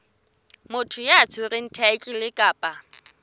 motho ya tshwereng thaetlele kapa